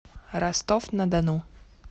ростов на дону